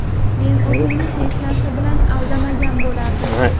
men o‘zimni hech narsa bilan aldamagan bo‘lardim.